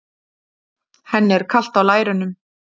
Henni er kalt á lærunum.